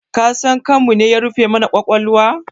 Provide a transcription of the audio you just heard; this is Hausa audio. Kasan kanmune ya rufe mana ƙwaƙwalwa?